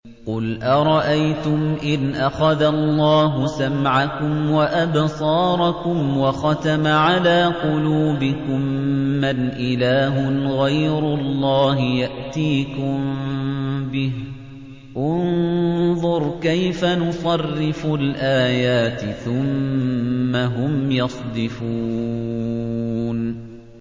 قُلْ أَرَأَيْتُمْ إِنْ أَخَذَ اللَّهُ سَمْعَكُمْ وَأَبْصَارَكُمْ وَخَتَمَ عَلَىٰ قُلُوبِكُم مَّنْ إِلَٰهٌ غَيْرُ اللَّهِ يَأْتِيكُم بِهِ ۗ انظُرْ كَيْفَ نُصَرِّفُ الْآيَاتِ ثُمَّ هُمْ يَصْدِفُونَ